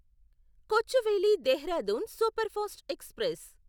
Kochuveli Dehradun superfast express